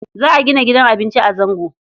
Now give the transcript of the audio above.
Za a gina gidan abinci a Zango.